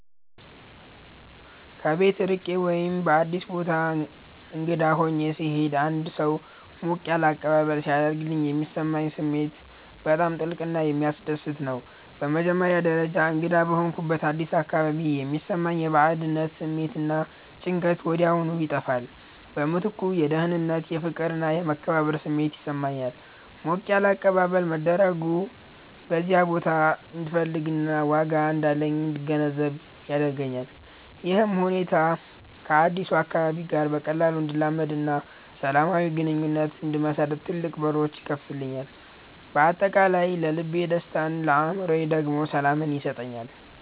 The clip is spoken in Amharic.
ከቤት ርቄ ወይም በአዲስ ቦታ እንግዳ ሆኜ ስሄድ አንድ ሰው ሞቅ ያለ አቀባበል ሲያደርግልኝ የሚሰማኝ ስሜት በጣም ጥልቅና የሚያስደስት ነው። በመጀመሪያ ደረጃ፣ እንግዳ በሆንኩበት አዲስ አካባቢ የሚሰማኝ የባዕድነት ስሜት እና ጭንቀት ወዲያውኑ ይጠፋል። በምትኩ የደህንነት፣ የፍቅር እና የመከበር ስሜት ይሰማኛል። ሞቅ ያለ አቀባበል መደረጉ በዚያ ቦታ እንድፈለግና ዋጋ እንዳለኝ እንድገነዘብ ያደርገኛል። ይህም ሁኔታ ከአዲሱ አካባቢ ጋር በቀላሉ እንድላመድና ሰላማዊ ግንኙነት እንድመሰርት ትልቅ በሮች ይከፍትልኛል። በአጠቃላይ ለልቤ ደስታን ለአእምሮዬ ደግሞ ሰላምን ይሰጠኛል።